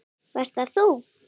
Hvar varst þú???